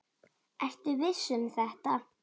Ertu viss um þetta?